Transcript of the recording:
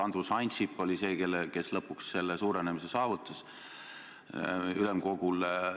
Andrus Ansip oli see, kes lõpuks selle suurenemise ülemkogul saavutas.